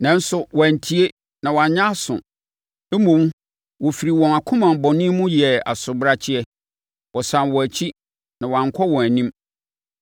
Nanso, wɔantie na wɔannyɛ aso; mmom, wɔfiri wɔn akoma bɔne mu yɛɛ asobrakyeɛ. Wɔsane wɔn akyi na wɔankɔ wɔn anim.